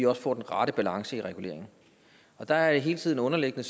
også får den rette balance i reguleringen og der er det hele tiden underliggende